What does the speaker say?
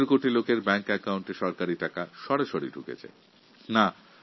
১৫ কোটি মানুষের ব্যাংক অ্যাকাউন্টে সরাসরি সরকারি টাকা পৌঁছচ্ছে